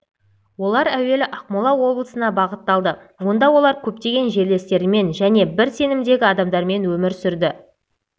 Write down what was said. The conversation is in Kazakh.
олар әуелі ақмола облысына бағытталды онда олар көптеген жерлестерімен және бір сенімдегі адамдармен өмір сүрді